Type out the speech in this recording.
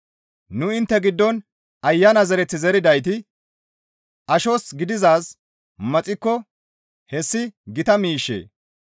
Nu intte giddon Ayana zereth zeridayti ashos gidizaaz maxikko hessi gita miishshee?